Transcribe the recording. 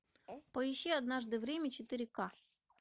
поищи однажды в риме четыре ка